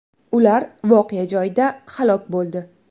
Ular voqea joyida halok bo‘ldi.